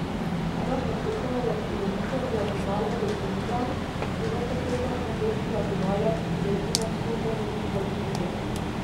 Ena kateta je polovica diagonale deltoida, druga kateta pa del diagonale, ki leži na somernici deltoida.